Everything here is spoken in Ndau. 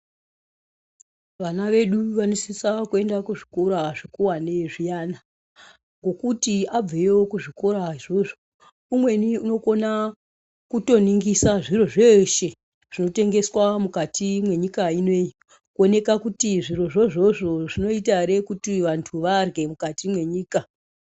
Vana vedu vanosisa kuyenda kuzvikora zvekuwanezviyana, ngokuti abveyo kuzvikora zvozvo umweni unokona kutoningisa zviro zveshe zvinotengeswa mukati menyika inoyi. Koneka kuti zvirozvozvo zvinoyita here kuti vantu vadlye mukati mwenyika.